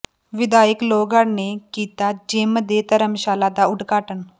ਵਿਧਾਇਕ ਲੋਹਗੜ੍ਹ ਨੇ ਕੀਤਾ ਜਿਮ ਤੇ ਧਰਮਸ਼ਾਲਾ ਦਾ ਉਦਘਾਟਨ